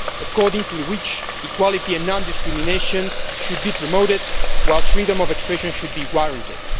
according to which equality and non discrimination should be promoted, while freedom of expression should be guaranteed.